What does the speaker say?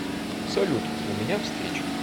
салют у меня встреча